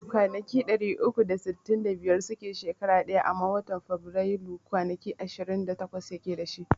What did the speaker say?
Kwanaki ɗari uku da sittin da biyar suke shekara ɗaya amma watan Faburailu kwanaki ishirin da takwas yake dashi